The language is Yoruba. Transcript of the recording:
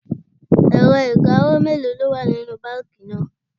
Ẹ̀rọ ìkawó mélòó ló wà nínú báńkì náà?